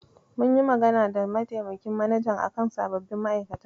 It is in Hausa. Mun yi magana da mataimakin manajan a kan sababbin ma'aikatan.